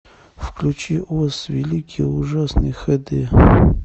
включи оз великий и ужасный хд